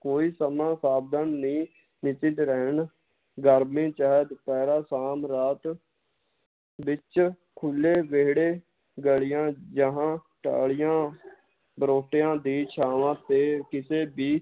ਕੋਈ ਸਮਾਂ ਨੀ ਰਹਿਣ ਗਰਮੀ ਚਾਹੇ ਦੁਪਹਿਰਾ ਸ਼ਾਮ ਰਾਤ ਵਿੱਚ ਖੁੱਲੇ ਵੇਹੜੇ, ਗਲੀਆਂ ਜਹਾਂ, ਟਾਹਲੀਆਂ ਬਰੋਟਿਆਂ ਦੀ ਛਾਵਾਂ ਤੇ ਕਿਸੇ ਦੀ